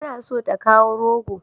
Tana so ta kawo rogo.